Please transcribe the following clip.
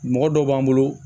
Mɔgɔ dɔw b'an bolo